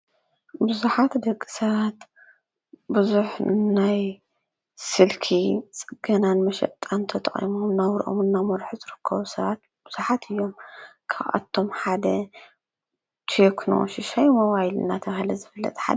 ብዙሓት ደቂ ሰባት ብዙሕ ናይ ስልኪ ፅገናን መሸጢን ተጠቒሞም ናብርኦም እናመርሑ ዝርከቡ ሰባት ብዙሓት እዮም ።ካብኣቶም ሓደ ቴክኖ ሽሻይ ሞባይል እናተባህለ ዝፍለጥ ሓደ እዩ።